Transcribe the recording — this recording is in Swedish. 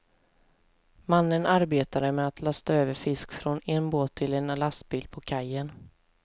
Mannen arbetade med att lasta över fisk från en båt till en lastbil på kajen.